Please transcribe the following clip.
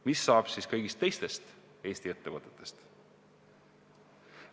Mis saab kõigist teistest Eesti ettevõtetest?